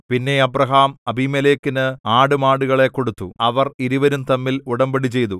പിന്നെ അബ്രാഹാം അബീമേലെക്കിന് ആടുമാടുകളെ കൊടുത്തു അവർ ഇരുവരും തമ്മിൽ ഉടമ്പടിചെയ്തു